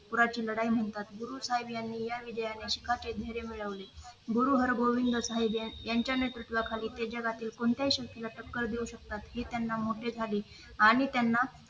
पोरांची लढाई म्हणतात गुरु साहेब यांनी या विधीने निषका केंद्रीय मिळवली गुरु हर गोविंद साहेब यांच्या नेतृत्वाखाली ते या जगातला कोणत्याही शस्त्राला टक्कर देऊ शकतात हे त्यांना मोठे झाले आणि त्यांना